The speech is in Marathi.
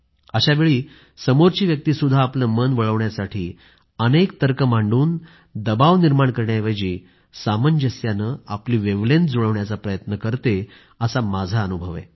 अशावेळी समोरची व्यक्तीसुद्धा आपलं मन वळवण्यासाठी अनेक तर्क मांडून दबाव निर्माण करण्याऐवजी सामंजस्याने आपली मनं जुळवण्याचा प्रयत्न करतो असा माझा अनुभव आहे